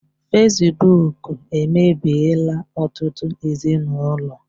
Fesbụụk emebiela ọtụtụ ezinụlọ.